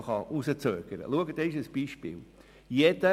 Ich weise Sie auf ein Beispiel hin.